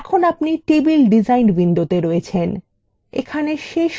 এখন আপনি table design window আছেন